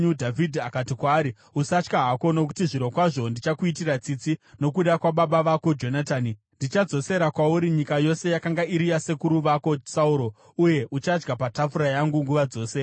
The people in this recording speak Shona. Dhavhidhi akati kwaari, “Usatya hako, nokuti zvirokwazvo ndichakuitira tsitsi nokuda kwababa vako Jonatani. Ndichadzosera kwauri nyika yose yakanga iri yasekuru vako Sauro, uye uchadya patafura yangu nguva dzose.”